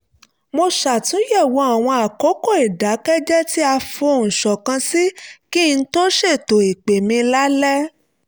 mo ṣàtúnyẹ̀wò àwọn àkókò ìdàkẹ́jẹ́ẹ́ tí a fohùn ṣọ̀kan sí kí n tó ṣètò ìpè mi lálẹ́